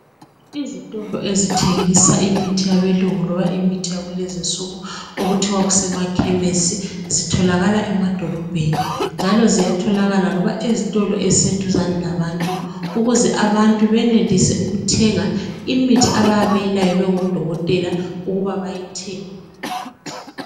Izitolo ezithengisa imithi yabelungu kumbe yakulezi insuku okuthiwa kusemakhemisi zitholakala emadolobheni njalo ziyatholakala loba ezitolo ezise duze labantu. Ukuze abantu benelise ukuthenga imithi abayabe beyilayelwe ngodokotela ukuba bayithenge.